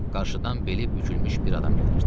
Qarşıdan beli bükülmüş bir adam gəlirdi.